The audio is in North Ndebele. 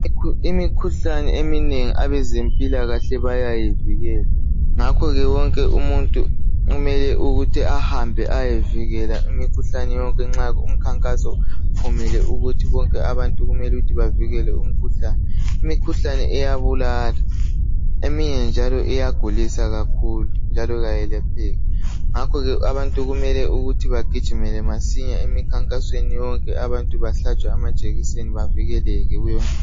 Imikhuhlane eminengi abezempilakahle bayayivikela ,ngakho ke wonke umuntu kumele ukuthi ahambe ayevikela imikhuhlane yonke nxa umkhankaso kumele ukuthi bonke abantu bavikele imikhuhlane. Imikhuhlane iyabulala eminye njalo iyagulisa kakhulu njalo ayelapheki. Ngakho kumele ukuthi ugijimele emikhankasweni yonke abantu behlatshwe amajekiseni bavikeleleke.